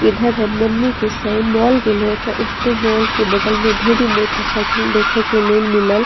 इधर हम मम्मी के संग मॉल गलयो त उतो मॉल के बगल में ढेरी मोटर साइकिल देखे के लेल मिलल।